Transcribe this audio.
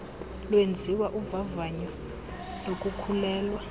kwenziwa uvavanyo lokukhulelwa